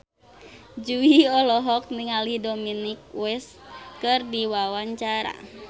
Jui olohok ningali Dominic West keur diwawancara